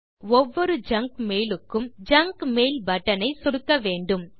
இதற்கு ஒவ்வொரு junk mail க்கும் ஜங்க் மெயில் பட்டன் ஐ சொடுக்க வேண்டும்